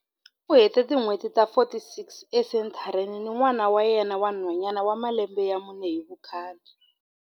U hete tin'hweti ta 46 esenthareni ni n'wana wa yena wa nhwanyana wa malembe ya mune hi vukhale.